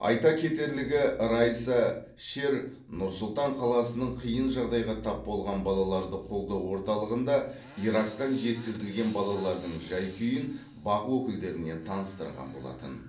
айта кетерлігі райса шер нұр сұлтан қаласының қиын жағдайға тап болған балаларды қолдау орталығында ирактан жеткізілген балалардың жай күйін бақ өкілдеріне таныстырған болатын